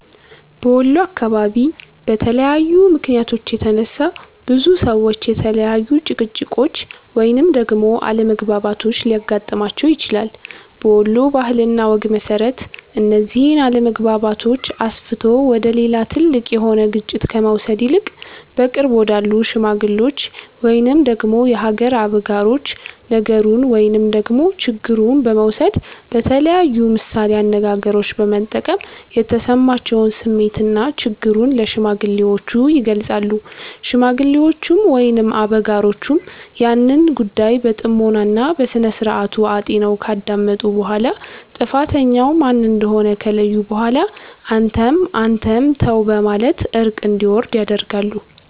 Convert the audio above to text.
በወሎ አካባቢ በተለያዩ ምክንያቶች የተነሳ፤ ብዙ ሰዎች የተለያዩ ጭቅጭቆች ወይንም ደግሞ አለመግባባቶች ሊያገጥማቸው ይችላል። በወሎ ባህል እና ወግ መሰረት፤ እነዚህን አለመግባባቶች አስፍቶ ወደ ሌላ ትልቅ የሆነ ግጭት ከመውሰድ ይልቅ በቅርብ ወዳሉ ሽማግሎች ወይንም ደግሞ የሀገር አበጋሮች ነገሩን ወይንም ደግሞ ችግሩን በመውሰድ በተለያዩ ምሳሌ አነጋገሮች በመጠቀም የተሰማቸውን ስሜትና ችግሩን ለሽማግሌዎቹ ይገልፃሉ። ሽማግሌዎቹም ወይንም አበጋሮቹም ያንን ጉዳይ በጥሞና እና በስነስርዓቱ አጢነው ካዳመጡ በኋላ ጥፋተኛው ማን እንደሆነ ከለዩ በኋላ አንተም አንተም ተው በማለት እርቅ እንዲወርድ ያደርጋሉ።